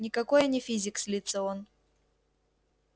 никакой я не физик злится он